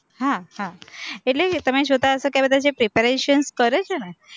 હા હા, એટલે તમે જોતા હશો કે આ બધા જે preparations કરે છે ને